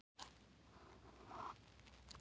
Er það ekkert að trufla íslenska liðið?